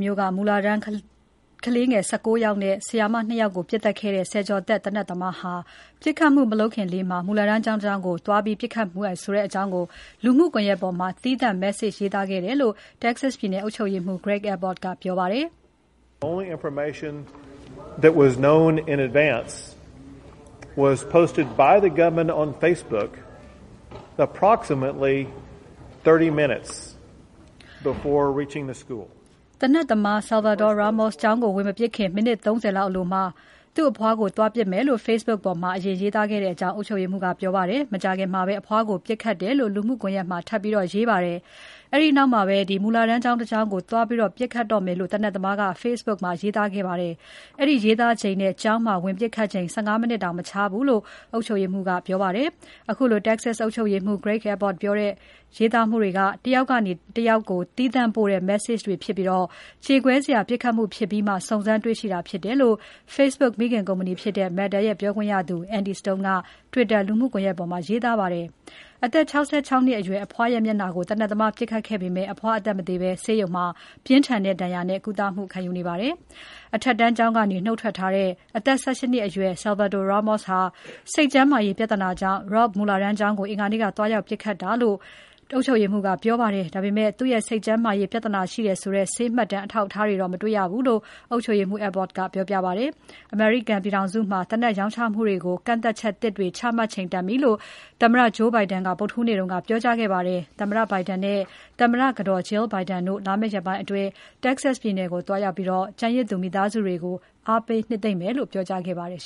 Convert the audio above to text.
မြို့က မူလတန်းကလေးငယ် ၁၉ ယောက်နဲ့ ဆရာမ ၂ ယောက်ကို ပစ်သတ်ခဲ့တဲ့ ဆယ်ကျော်သက် သေနတ်သမားဟာ ပစ်ခတ်မှုမလုပ်ခင်လေးမှာ မူလတန်းကျောင်းတကျောင်းကို သွားပစ်ခတ်မယ်ဆိုတဲ့အကြောင်း လူမှုကွန်ရက်ပေါ်မှာ သီးသန့် Message ရေးသားခဲ့တယ်လို့ Texas ပြည်နယ် အုပ်ချုပ်ရေးမှူး Greg Abbott ကပြောပါတယ်။ သေနတ်သမား Salvador Ramos ကျောင်းကို ဝင်မပစ်ခင် မိနစ် ၃၀ အလိုမှာ သူ့အဖွားကို သွားပစ်မယ်လို့ Facebook ပေါ်မှာ ရေးသားခဲ့တယ်လို့ အုပ်ချုပ်ရေးမှူး ကပြောပါတယ်။ မကြာခင်မှာပဲ အဖွားကို ပစ်ခတ်ခဲ့တယ်လို့ ထပ်ရေးတင်ပါတယ်။ အဲဒီနောက်မှာပဲ မူလတန်းကျောင်းတကျောင်းကို သွားပစ်ခတ်တော့မယ်လို့ သေနတ်သမားက Facebook ပေါ်မှာ ရေးသားခဲ့ပါတယ်။ အဲဒီရေးသားချိန်နဲ့ ကျောင်းမှာ ပစ်ခတ်ချိန် ၁၅ မိနစ်တောင် မခြားဘူးလို့ အုပ်ချုပ်ရေးမှူး ကပြောပါတယ်။ အခုလို Texas အုပ်ချုပ်ရေးမှူး Greg Abbott ပြောတဲ့ ရေးသားမှုတွေက တယောက်ကနေ တယောက်ကို သီးသန့်ပို့တဲ့ Message တွေဖြစ်ပြီး ကြေကွဲစရာပစ်ခတ်မှုဖြစ်ပြီးမှ စုံစမ်းတွေ့ရှိတာဖြစ်တယ်လို့ Facebook မိခင်ကုမ္ပဏီဖြစ်တဲ့ Meta ရဲ့ ပြောခွင့်ရသူ Andy Stone က Twitter လူမှုကွန်ယက်ပေါ်မှာ ရေးသားခဲ့ပါတယ်။ အသက် ၆၆ နှစ် အရွယ် အဖွားရဲ့မျက်နှာကို သေနတ်သမားပစ်ခဲ့ပေမယ့် အဖွားအသက်မသေဘဲ ဆေးရုံမှာ ပြင်းထန်တဲ့ဒဏ်ရာနဲ့ ကုသမှုခံယူနေပါတယ်။ အထက်တန်းကျောင်းကနေ နုတ်ထွက်ထားတဲ့ အသက် ၁၈ နှစ်အရွယ် Salvador Ramos ဟာ စိတ်ကျန်းမာရေးပြဿနာကြောင့် Robb မူလတန်းကျောင်းကို အင်္ဂါနေ့က သွားရောက်ပစ်ခတ်တာလို့ ပြောပါတယ်။ ဒါပေမယ့် သူ့စိတ်ကျန်းမာရေး ပြဿနာရှိတယ်ဆိုတဲ့ ဆေးမှတ်တမ်း အထောက်အထားတွေတော့ မတွေ့ဘူးလို့ အုပ်ချုပ်ရေးမှူး Abbott ကပြောပါတယ်။ အမေရိကန်ပြည်ထောင်စုမှာ သေနတ်ရောင်းချမှုတွေကို ကန့်သတ်ချက်သစ်တွေ ချမှတ်ချိန်တန်ပြီလို့ သမ္မတ Joe Biden က ဗုဒ္ဓဟူးနေ့က ပြောကြားခဲ့ပါတယ်။ သမ္မတ Biden နဲ့ သမ္မတကတော် Jill Biden တို့ လာမယ့်ရက်ပိုင်းအတွင်း Texas ပြည်နယ်ကို သွားရောက်ပြီး ကျန်ရစ်သူ မိသားစုတွေကို အားပေးနှစ်သိမ့်မယ်လို့ ပြောကြားခဲ့ပါတယ်